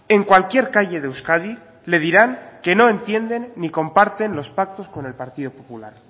en cualquier calle de euskadi le dirán que no entienden ni comparten los pactos con el partido popular